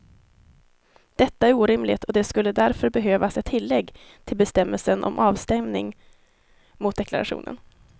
Detta är orimligt och det skulle därför behövas ett tillägg till bestämmelsen om avstämning mot deklarationen.